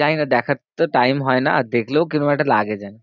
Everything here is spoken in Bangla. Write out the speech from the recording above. জানি না, দেখার তো time হয় না, আর দেখলেও কিরম একটা লাগে যেন।